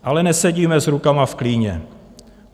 Ale nesedíme s rukama v klíně.